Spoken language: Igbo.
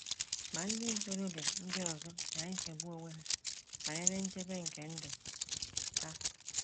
Ma, ndị ntorobịa ndị ọzọ na - echegbu onwe ha banyere nchebe nke ndụ ha.